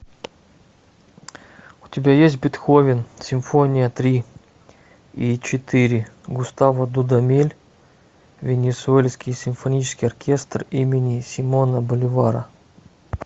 у тебя есть бетховен симфония три и четыре густаво дудамель венесуэльский симфонический оркестр имени симона боливара